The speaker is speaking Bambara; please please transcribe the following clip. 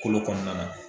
Kolo kɔnɔna na